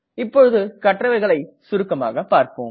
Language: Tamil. இப்போது கற்றவைகளை சுருக்கமாக பார்ப்போம்